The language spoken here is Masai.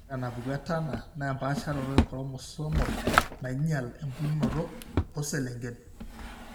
Ore enapuku eTurner naa empaasharoto echromosomal nainyial embulunoto tooselengen.